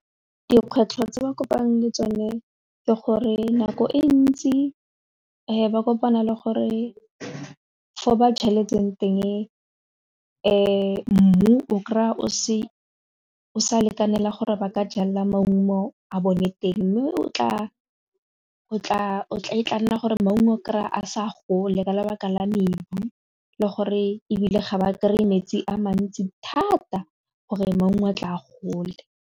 Dikgwetlho tse ba kopang le tsone ke gore nako e ntsi ba kopana le gore fo ba jaletseng teng mmu o kry-a o sa lekanelang gore ba ka jala maungo a bone teng mme o tla nna gore maungo o kry-a a sa gole ka lebaka la mmebu le gore ebile ga ba kry-e metsi a mantsi thata gore maungo a tla a gole.